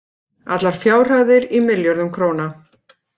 Allar fjárhæðir í milljörðum króna.